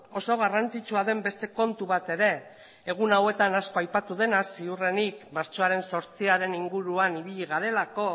oso garrantzitsua den beste kontu bat ere egun hauetan asko aipatu dena ziurrenik martxoaren zortziaren inguruan ibili garelako